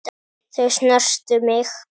Þau snertu mig.